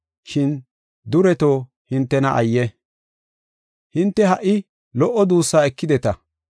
“Shin dureto hintena ayye! hinte ha77i lo77o duussaa ekideta.